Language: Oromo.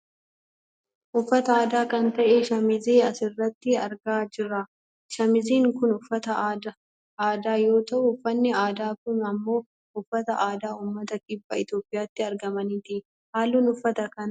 uffata aadaa kan ta'e shamizii asirratti argaa jirra . shamiziin kun uffata aadaa yoo ta'u, uffanni aadaa kun ammoo uffata aadaa uummata kibbaa Itoopiyaatti argamaniiti. halluun uffata kanaa bayyee dha.